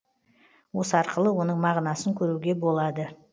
осы арқылы оның мағынасын көруге болады